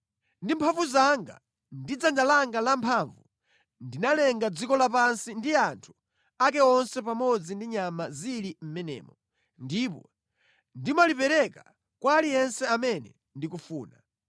Ndi mphamvu zanga ndi dzanja langa lamphamvu ndinalenga dziko lapansi ndi anthu ake onse pamodzi ndi nyama zili mʼmenemo, ndipo ndimalipereka kwa aliyense amene ndikufuna.